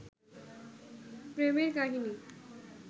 প্রেমের কাহিনী